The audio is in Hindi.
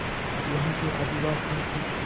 यहाँ के आदिवासियों की